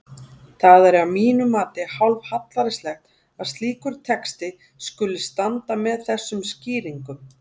Það er að mínu mati hálfhlægilegt að slíkur texti skuli standa með þessum skýringum.